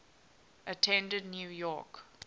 attended new york